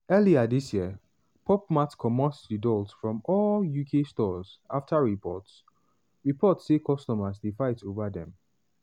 earlier dis yearpop mart comot di dolls from all uk storesafter reports reports say customers dey fight over dem.